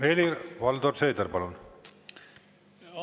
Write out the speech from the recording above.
Helir-Valdor Seeder, palun!